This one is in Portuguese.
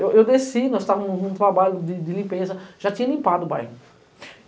Eu desci, nós estávamos num trabalho de limpeza, já tinha limpado o bairro.